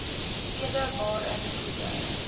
tweede waarin koeie